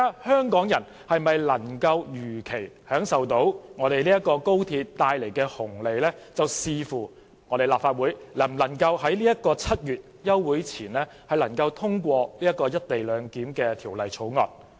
香港人能否如期享受高鐵帶來的紅利，視乎立法會能否在7月休會前通過《條例草案》。